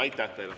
Aitäh teile!